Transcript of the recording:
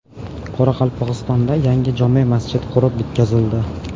Qoraqalpog‘istonda yangi jome masjid qurib bitkazildi .